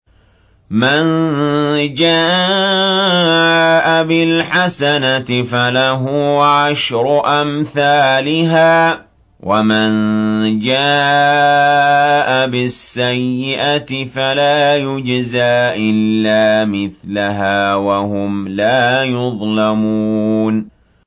مَن جَاءَ بِالْحَسَنَةِ فَلَهُ عَشْرُ أَمْثَالِهَا ۖ وَمَن جَاءَ بِالسَّيِّئَةِ فَلَا يُجْزَىٰ إِلَّا مِثْلَهَا وَهُمْ لَا يُظْلَمُونَ